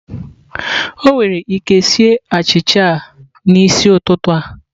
Ọ nwere ike sie achịcha a n'isi ụtụtụ a?